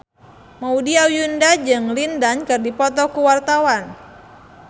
Maudy Ayunda jeung Lin Dan keur dipoto ku wartawan